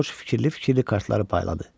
Corc fikirli-fikirli kartları payladı.